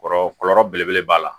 Kɔrɔ kɔlɔlɔ belebele b'a la